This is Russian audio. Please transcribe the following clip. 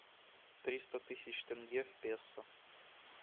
триста тысяч тенге в песо